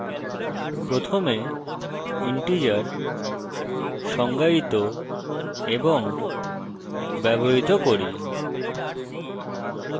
প্রথমে integers সংজ্ঞায়িত এবং ব্যবহৃত করি